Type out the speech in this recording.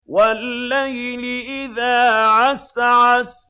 وَاللَّيْلِ إِذَا عَسْعَسَ